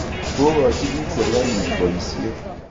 Kokochi piik serikalit poisyet